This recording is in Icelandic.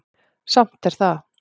Samt er það